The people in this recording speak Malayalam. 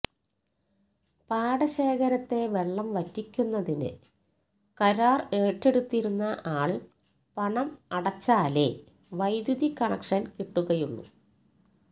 പാടശേഖരത്തെ വെള്ളം വറ്റിക്കുന്നതിനു കരാര് ഏറ്റെടുത്തിരിക്കുന്ന ആള് പണം അടച്ചാലേ വൈദ്യുതി കണക്ഷന് കിട്ടുകയുള്ളൂ